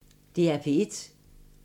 DR P1